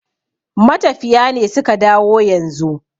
matafiya ne suka dawo yanzu